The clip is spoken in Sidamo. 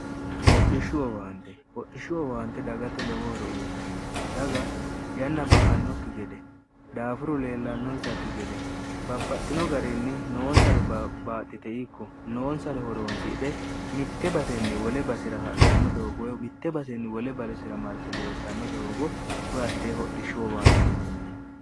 hodhishshu wowaante hodhishshu wowaante dagate lowohore uyitanno daga yanna ba'annokki gede daafuru leellannonsakki gede babbaxxino garinni noonsare baaxxite ikko noonsare horoonsidhe mitte basenni wole basira hadhanno doogowe witte basenni wole balesira marti leeltanno doogo uyattee hodhishshu wowaanteetine